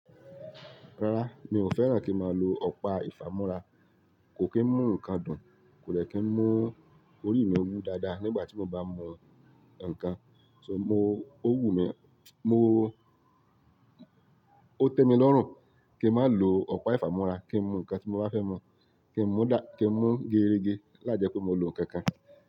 Rárá, mi ò fẹ́ràn kí n máa lo ọ̀pá ìfámúrá. Kò kí ń mú nǹkan dùn, kò dẹ̀ kí ń mú orí mi wú dáadáa nígbà tí mo bá mu nǹkan. So mo-- ó wù mí, mo-- ó tẹ́ mi lọ́rùn kí n máa lo ọ̀pá ìfámúrá kí n mú nǹkan tí mo bá fẹ́ mọ̀, kí n mú dá-- kí n mú geerege la jẹ́ pé mo lo nǹkan kan.